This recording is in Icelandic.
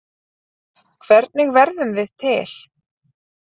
Hvernig verðum við til?